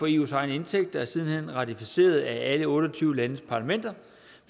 eus egne indtægter er siden hen ratificeret af alle otte og tyve landes parlamenter